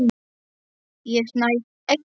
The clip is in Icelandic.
Ég næ ekki.